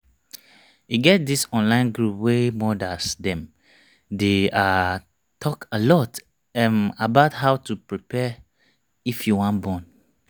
e get this online group wey modas them dey ah talk alot ehm about how to prepare if you wan born